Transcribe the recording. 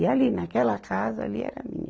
E ali, naquela casa, ali era minha.